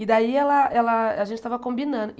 E daí ela ela a gente estava combinando.